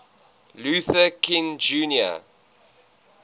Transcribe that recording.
luther king jr